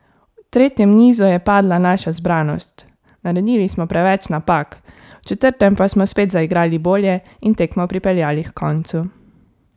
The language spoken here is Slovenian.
V tretjem nizu je padla naša zbranost, naredili smo preveč napak, v četrtem pa smo spet zaigrali bolje in tekmo pripeljali h koncu.